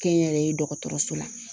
Kɛnyɛrɛye dɔgɔtɔrɔso la.